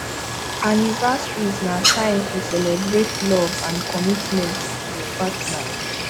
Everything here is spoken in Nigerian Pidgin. anniversaries na time to celebrate love and commitment to your partner